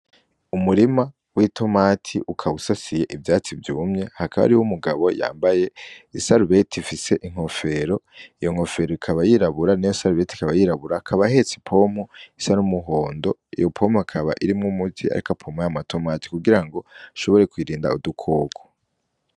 Umurima w'itomati ukaba usasiye ivyatsi vyumye hakaba hariho umugabo yambaye isarubeti ifise inkofero iyo nkofero ikaba yirabura niyo sarubeti ikaba yirabura akaba ahetse ipompo isa n'umuhondo iyo pompo akaba irimwo umuti ariko apompa aya tomati kugirango ishobore kuyirinda udukoko.